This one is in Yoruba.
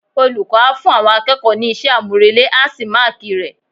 Olùkọ́ a fún àwọn akẹ́kọ̀ọ́ ní iṣẹ́ àmúrelé á sì máàkì rẹ̀.